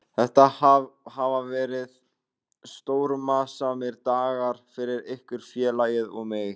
Þetta hafa verið stormasamir dagar fyrir ykkur, félagið og mig.